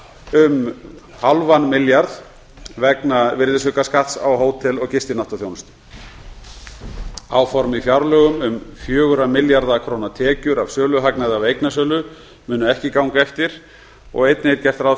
um núll fimm milljarða vegna virðisaukaskatts á hótel og gistináttaþjónustu áform í fjárlögum um fjögurra milljarða króna tekjur af söluhagnaði af eignasölu munu ekki ganga eftir og einnig er gert ráð